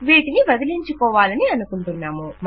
వీటిని వదిలించుకోవాలనుకుంటున్నాము